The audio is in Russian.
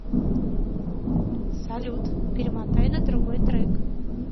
салют перемотай на другой трек